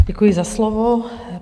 Děkuji za slovo.